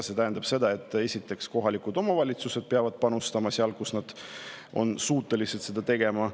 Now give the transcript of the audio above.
See tähendab seda, et kohalikud omavalitsused peavad panustama seal, kus nad on suutelised seda tegema.